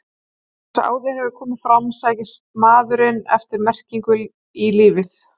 Eins og áður hefur komið fram sækist maðurinn eftir merkingu í lífið.